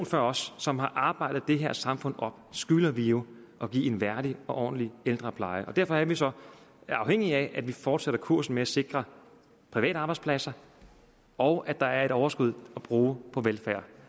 før os som har arbejdet det her samfund op skylder vi jo at give en værdig og ordentlig ældrepleje derfor er vi så afhængige af at vi fortsætter kursen med at sikre private arbejdspladser og at der er et overskud at bruge på velfærd